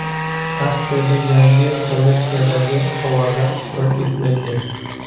Aksiyada yangi kolleksiyadagi tovarlar ishtirok etmaydi.